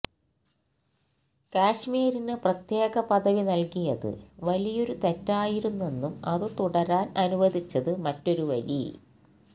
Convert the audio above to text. കശ്മീരിന് പ്രത്യേക പദവി നൽകിയത് വലിയൊരു തെറ്റായിരുന്നെന്നും അത് തുടരാൻ അനുവദിച്ചത് മറ്റൊരു വലി